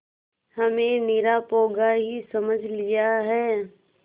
हमें निरा पोंगा ही समझ लिया है